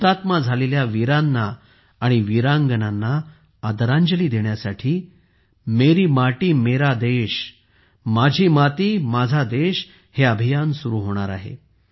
हुतात्मा झालेल्या वीरांना आणि वीरांगनांना आदरांजली देण्यासाठी मेरी माती मेरा देश माझी माती माझा देश अभियान सुरू होणार आहे